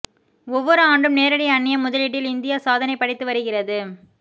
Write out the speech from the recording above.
ஒவ்வொரு ஆண்டும் நேரடி அன்னிய முதலீட்டில் இந்தியா சாதனை படைத்து வருகிறது